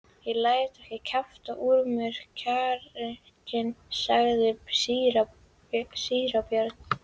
Ég læt ekki kjafta úr mér kjarkinn, sagði síra Björn.